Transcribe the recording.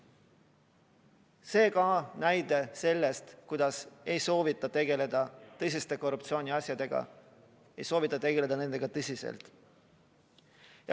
See on ka näide sellest, kuidas ei soovita tegeleda tõsiste korruptsiooniasjadega, ei soovita tegeleda nendega tõsiselt.